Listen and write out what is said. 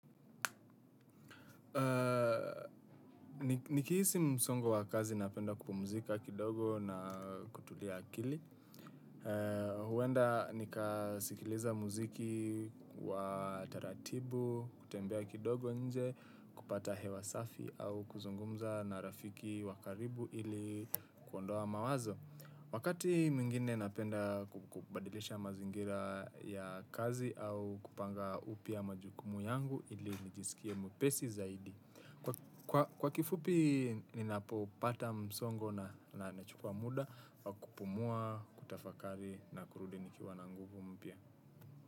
Nikihisi msongo wa kazi napenda kupumuzika kidogo na kutulia akili. Huenda nika sikiliza muziki wa taratibu, kutembea kidogo nje, kupata hewa safi au kuzungumza na rafiki wakaribu ili kuondoa mawazo. Wakati mwingine napenda kubadilisha mazingira ya kazi au kupanga upya majukumu yangu ili nijisikie mwepesi zaidi. Kwa kifupi ninapopata msongo na, na chukua muda wa kupumua, kutafakari na kurudi nikiwa na nguvu mpya.